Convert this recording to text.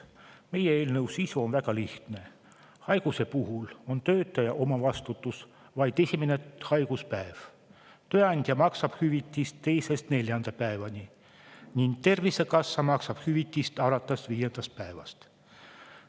Meie eelnõu sisu on väga lihtne: haiguse puhul on töötaja omavastutus vaid esimene haiguspäev, tööandja maksab hüvitist teisest neljanda päevani ning Tervisekassa maksab hüvitist alates viiendast päevast.